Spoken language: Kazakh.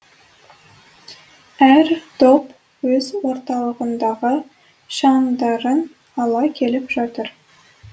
әр топ өз орталарындағы шамдарын ала келіп жатыр